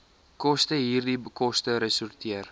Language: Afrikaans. kostehierdie koste resorteer